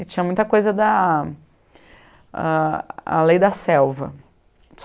E tinha muita coisa da a a lei da selva.